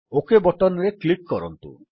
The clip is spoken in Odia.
ଓକ୍ ବଟନ୍ ରେ କ୍ଲିକ୍ କରନ୍ତୁ